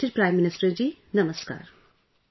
Respected Prime Minister ji, Namaskar